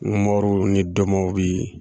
ni dɔmɔw bi